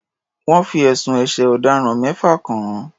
Wọ́n fi ẹ̀sùn ẹ̀ṣẹ̀ ọ̀daràn mẹ́fà kàn án.